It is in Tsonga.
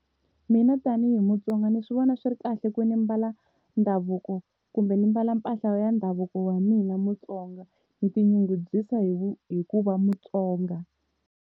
Mina tani hi Mutsonga ni swi vona swi ri kahle ku ni mbala ndhavuko kumbe ndzi mbala mpahla ya ndhavuko wa mina Mutsonga. Ni tinyungubyisa hi ku va Mutsonga.